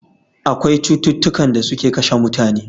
Akwai cututtukan da suke kashe mutane